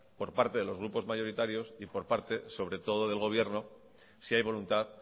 por parte de los grupos mayoritarios y por parte sobre todo el gobierno si hay voluntad